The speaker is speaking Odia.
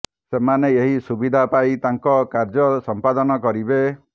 ସେମାନେ ଏହି ସୁବିଧା ପାଇ ତାଙ୍କ କାର୍ଯ୍ୟ ସମ୍ପାଦନ କରିବେ